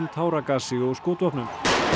táragasi og skotvopnum